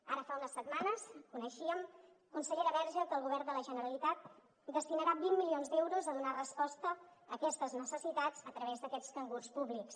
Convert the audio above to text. ara fa unes setmanes coneixíem consellera verge que el govern de la generalitat destinarà vint milions d’euros a donar resposta a aquestes necessitats a través d’aquests cangurs públics